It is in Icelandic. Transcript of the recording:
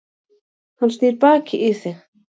Hann snýr baki í þig.